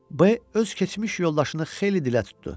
B öz keçmiş yoldaşını xeyli dilə tutdu.